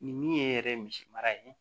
Ni min ye yɛrɛ ye misi mara ye